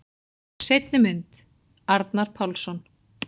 Seinni mynd: Arnar Pálsson.